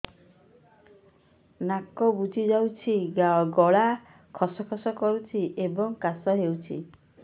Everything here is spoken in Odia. ନାକ ବୁଜି ଯାଉଛି ଗଳା ଖସ ଖସ କରୁଛି ଏବଂ କାଶ ହେଉଛି